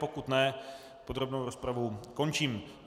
Pokud ne, podrobnou rozpravu končím.